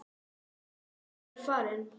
Já, ég er farinn.